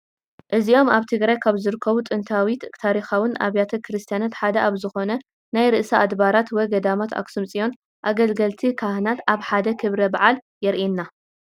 እዚኦም ኣብ ትግራይ ካብ ዝርከቡ ጥንታዊን ታሪካውን ኣብያተ ክርስትያናት ሓደ ኣብ ዝኾነ ናይ ርእሰ ኣድባራት ወ ገዳማት ኣክሱም ፅዮን ኣገልገልቲ ካህናት ኣብ ሓደ ክብረ በዓል የሪኤና፡፡